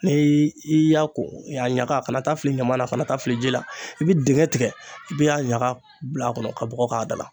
Ni i y'a ko a ɲaga kana taa fili ɲama na kana taa fili ji la i bi dingɛn tigɛ i be a ɲaga bil'a kɔrɔ ka bɔgɔ k'a da la